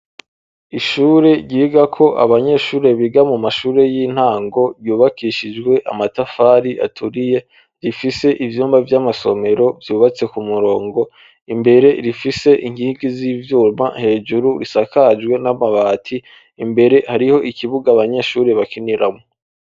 Ishuri ryiga ko abanyeshuri biga mu mashuri y'intango ,ryubakishijwe amatafari aturiye ,rifise ivyumba vy'amasomero vyubatse ku murongo ,imbere rifise inkingi z'ivyuma ,hejuru risakajwe n'amabati, imbere hariho ikibuga abanyeshuri bakiniramwo.